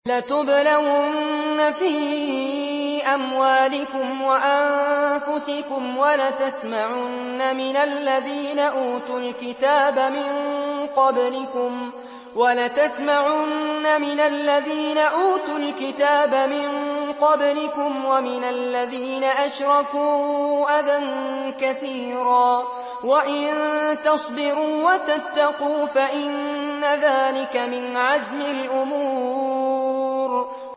۞ لَتُبْلَوُنَّ فِي أَمْوَالِكُمْ وَأَنفُسِكُمْ وَلَتَسْمَعُنَّ مِنَ الَّذِينَ أُوتُوا الْكِتَابَ مِن قَبْلِكُمْ وَمِنَ الَّذِينَ أَشْرَكُوا أَذًى كَثِيرًا ۚ وَإِن تَصْبِرُوا وَتَتَّقُوا فَإِنَّ ذَٰلِكَ مِنْ عَزْمِ الْأُمُورِ